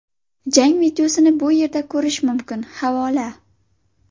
Jang videosini bu yerda ko‘rish mumkin → havola .